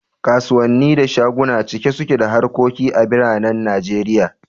Kasuwanni da shaguna cike suke da harkoki a biranen Najeriya